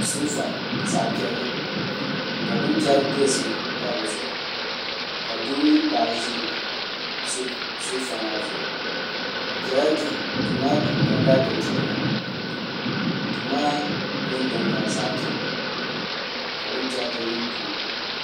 soofa zaɣ piɛlli ka bin chɛri piɛlli pa dizuɣu ka doo mini paɣa ʒi soofa maa zuɣu bi biɛla duu duu maa puuni ka kaapɛt doya duu maa peenta nyɛla zaɣ piɛlli ka bin chɛriti yili duu maa ni